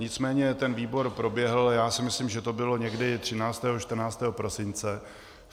Nicméně ten výbor proběhl, já si myslím, že to bylo někdy 13., 14. prosince.